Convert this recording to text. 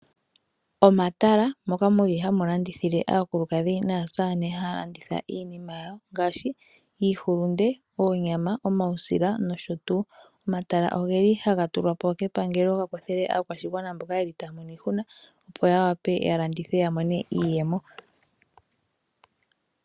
Omatala moka muli hamu landithile aakulukadhi naasamane, haya landitha iinima ngashi iihulunde, oonyama, omausila, nosho tuu. Omatala ogeli haga tulwapo kepangelo gakwathela aakwashigwana mboka yeli taya mono iihuna opo ya vule oku landitha ya monemo iiyemo.